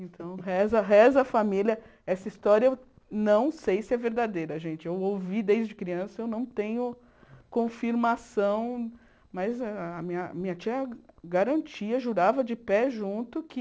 Então reza, reza a família, essa história eu não sei se é verdadeira, gente, eu ouvi desde criança, eu não tenho confirmação, mas a minha minha tia garantia, jurava de pé junto que